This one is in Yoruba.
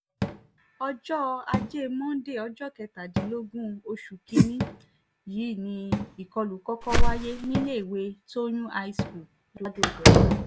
ọjọ́ ajé monde ọjọ́ kẹtàdínlógún oṣù kìn-ín-ní yìí ni ìkọlù kọ́kọ́ wáyé níléèwé tóyún v high school ladọ-odò ọ̀tá